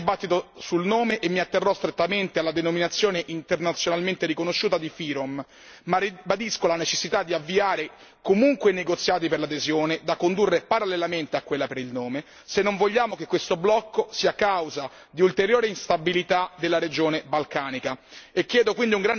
Non desidero entrare nel dibattito sul nome e mi atterrò strettamente alla denominazione internazionalmente riconosciuta di FYROM ma ribadisco la necessità di avviare comunque i negoziati per l'adesione, da condurre parallelamente a quella per il nome, se non vogliamo che questo blocco sia causa di ulteriore instabilità della regione balcanica.